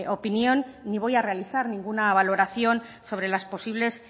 opinión ni voy a realizar ninguna valoración sobre las posibles